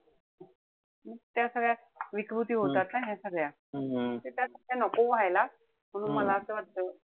त्या विकृती होतात ना सगळ्या. त त्या नको व्हायला. म्हणून मला असं वाटत,